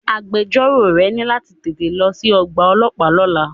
Agbẹjọ́rò rẹ ní láti tẹ̀lé ẹ lọ sí ọgbà ọlọ́pàá lọ́la.